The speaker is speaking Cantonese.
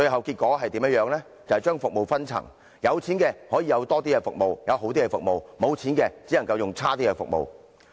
結果是將服務分層，有錢的可享有較多和較好的服務，無錢的只可使用較差的服務。